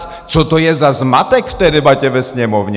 Co to je za zmatek v té debatě ve Sněmovně?